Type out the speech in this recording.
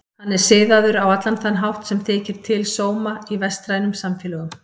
Hann er siðaður á allan þann hátt sem þykir til sóma í vestrænum samfélögum.